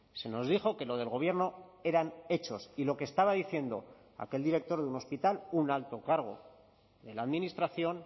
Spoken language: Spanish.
se nos dijo que lo del gobierno eran hechos y lo que estaba diciendo aquel director de un hospital un alto cargo de la administración